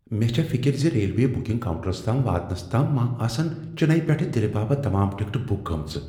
مےٚ چھےٚ فکر ز ریلوے بکنگ کاؤنٹرس تام واتنس تام ما آسن چنئی پیٹھ دلہ باپت تمام ٹکٹہ بُک گمژٕ ۔